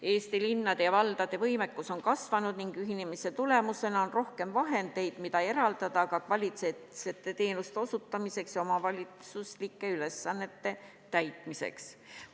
Eesti linnade ja valdade võimekus on kasvanud ning ühinemise tulemusena on rohkem vahendeid, mida eraldada ka kvaliteetsete teenuste osutamiseks ja omavalitsuslike ülesannete täitmiseks.